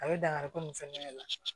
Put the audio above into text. A bɛ dankari ko min fɛnɛ la